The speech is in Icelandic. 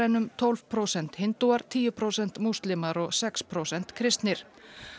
en um tólf prósent hindúar tíu prósent múslimar og sex prósent kristnir